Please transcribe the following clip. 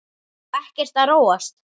Og ekkert að róast?